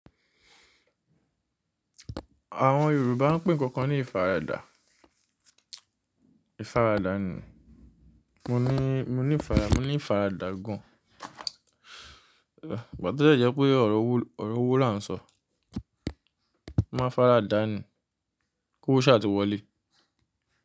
Àwọn Yorùbá ń pín ǹkan kan ní ìfaradà. Ìfaradà ni. Mo ní, mo ní ìfaradà, mo ní ìfaradà gan. Ìgbà tó dẹ̀ jẹ́ pé ọ̀rọ̀ owó, ọ̀rọ̀ owó là ń sọ. Má faradà ni. Owó ṣáà tí wọlé.